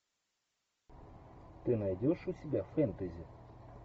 ты найдешь у себя фэнтези